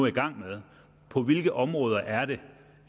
i gang med på hvilke områder er det